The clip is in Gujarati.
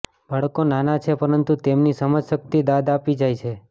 બાળકો નાના છે પરંતુ તેમની સમજશક્તિ દાદ આપી જાય છે